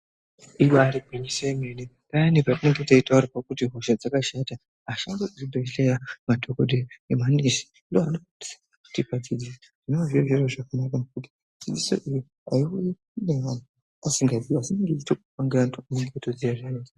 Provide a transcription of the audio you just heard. Ibari gwinyiso yemene payani patinotaurirwa kuti hosha dzakashata, ashandi emuzvibhehleya madhokodheya nemanesi ndiwo anosisa kutipa dzidziso iyoyo zvinova zviri zviro zvakanaka.